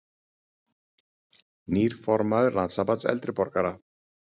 Nýr formaður Landssambands eldri borgara